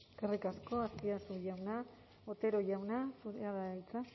eskerrik asko azpiazu jauna otero jauna zurea da hitza